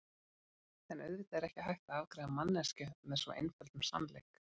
En auðvitað er ekki hægt að afgreiða manneskju með svo einföldum sannleik.